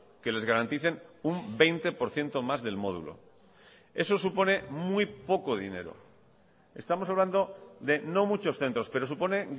que les garanticen un veinte por ciento más del módulo eso supone muy poco dinero estamos hablando de no muchos centros pero supone